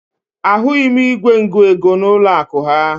Ahụghị m igwe ngụego n'ụlọakụ ha